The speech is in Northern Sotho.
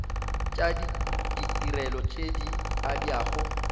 tša ditirelo tše di abjago